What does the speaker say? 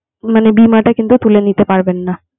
মানে বীমাটা কিন্তু তুলে নিতে পারবেন না।